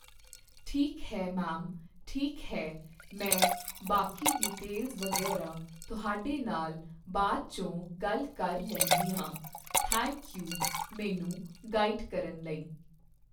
ਠੀਕ ਹੈ ਮੈਮ ਠੀਕ ਹੈ ਮੈਂ ਬਾਕੀ ਡੀਟੇਲਜ ਵਗ਼ੈਰਾ ਤੁਹਾਡੇ ਨਾਲ਼ ਬਾਅਦ 'ਚੋ ਗੱਲ ਕਰ ਲੈਂਦੀ ਆ ਥੈਂਕ ਯੂ ਮੈੈਨੂੰ ਗਾਈਡ ਕਰਨ ਲਈ